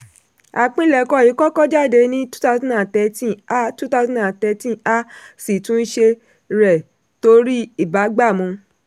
àpilẹ̀kọ yìí kọ́kọ́ jáde ní 2013 a 2013 a sì túnṣe rẹ̀ torí ìbágbàmu.